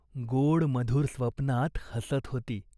तिने इकडे तिकडे पाहिले. नव्हता शिकारी, नव्हता साप.